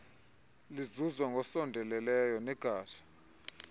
lizuzwa ngosondeleyo ngegazi